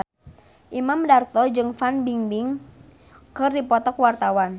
Imam Darto jeung Fan Bingbing keur dipoto ku wartawan